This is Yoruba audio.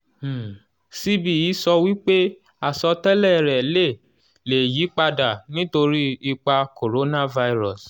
um cbe sọ wípé àsọtẹ́lẹ̀ rẹ̀ lè lè yí padà nítorí ipa coronavirus.